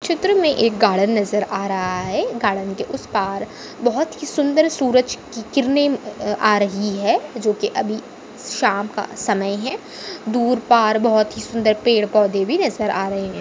चित्र मे एक गार्डन नजर आ रहा है गार्डन के उस पार बहुत ही सुंदर सूरज की- किरने अ अ- आ रही है जो की अभी श्याम का समय है दूर पार बहुत सुंदर पेड़ पौधे भी नजर आ रहे है।